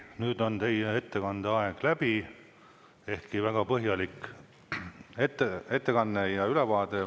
Nüüd on teie ettekande aeg läbi, ehkki väga põhjalik ettekanne ja ülevaade.